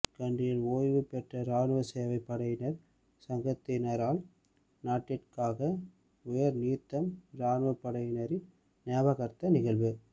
கண்டியில் ஓயவு பெற்ற இராணுவ சேவை படையினர் சங்கத்தினரால் நாட்டிட்காக உயர் நீத்த இராணுவப் படையினரின் ஞாபகார்த்த நிகழ்வு